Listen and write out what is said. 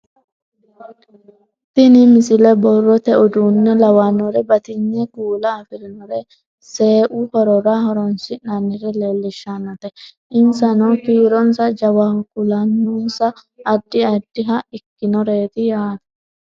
tini misile borrote uduunne lawannore batinye kuula afirinore seeu horora horonsi'nannire leellishshannote insano kiironsa jawaho kuulansano addi addiha ikinoreeti yaate